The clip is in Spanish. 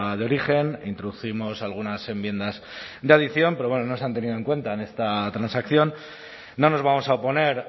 de origen introdujimos algunas enmiendas de adición pero no se han tenido en cuenta en esta transacción no nos vamos a oponer